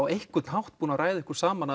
einhvern hátt búin að ræða ykkur saman